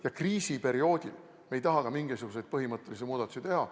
Ja kriisiperioodil me ei taha ka mingisuguseid põhimõttelisi muudatusi teha.